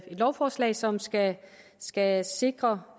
lovforslag som skal skal sikre